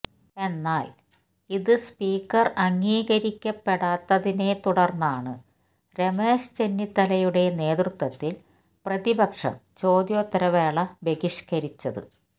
എന്നാൽ ഇത് സ്പീക്കർ അംഗീകരിക്കപ്പെടാത്തതിനെത്തുടർന്നാണ് രമേശ് ചെന്നിത്തലയുടെ നേതൃത്വത്തിൽ പ്രതിപക്ഷം ചോദ്യോത്തര വേള ബഹിഷ്കരിച്ചത്